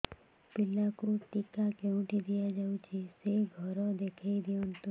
ପିଲାକୁ ଟିକା କେଉଁଠି ଦିଆଯାଉଛି ସେ ଘର ଦେଖାଇ ଦିଅନ୍ତୁ